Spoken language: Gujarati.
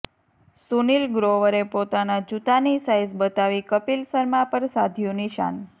સુનીલ ગ્રોવરે પોતાના જૂતાની સાઇઝ બતાવી કપિલ શર્મા પર સાધ્યુ નિશાન